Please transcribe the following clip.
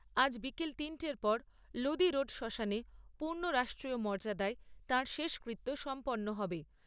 আজ বিকেল তিনটের পর লোদি রোড শ্মশানে পূর্ণ রাষ্ট্রীয় মর্যাদায় তাঁর শেষকৃত্য সম্পন্ন হবে।